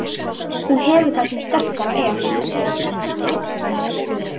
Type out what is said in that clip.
Hún hefur það sem sterkara er.